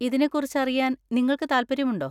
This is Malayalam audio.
ഇതിനെക്കുറിച്ച് അറിയാൻ നിങ്ങൾക്ക് താൽപ്പര്യമുണ്ടോ?